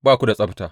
Ba ku da tsabta!